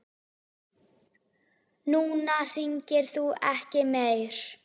Núna hringir þú ekki meir.